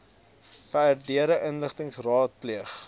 verdere inligting raadpleeg